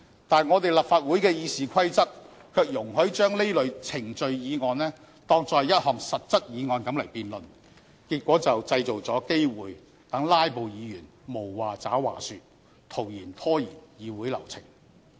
但是，我們立法會的《議事規則》卻容許將這類程序議案當作是一項實質議案來辯論，結果製造了機會讓"拉布"議員無話找話說，徒然拖延議會流程。